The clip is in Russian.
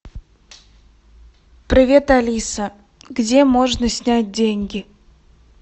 привет алиса где можно снять деньги